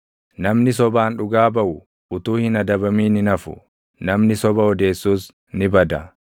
Namni sobaan dhugaa baʼu utuu hin adabamin hin hafu; namni soba odeessus ni bada.